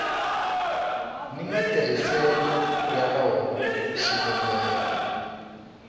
ni matirhiselo ya rona xivumbeko